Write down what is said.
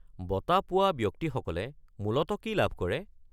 বঁটা পোৱা ব্যক্তিসকলে মূলতঃ কি লাভ কৰে?